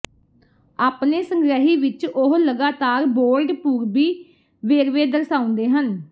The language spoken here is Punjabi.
ਆਪਣੇ ਸੰਗ੍ਰਹਿ ਵਿੱਚ ਉਹ ਲਗਾਤਾਰ ਬੋਲਡ ਪੂਰਬੀ ਵੇਰਵੇ ਦਰਸਾਉਂਦੇ ਹਨ